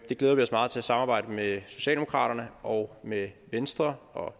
glæder vi os meget til at samarbejde med socialdemokraterne og med venstre